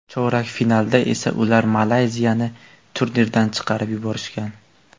Chorak finalda esa ular Malayziyani turnirdan chiqarib yuborgan.